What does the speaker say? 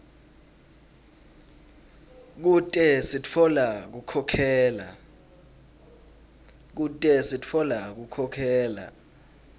kute sitfola kukhokhela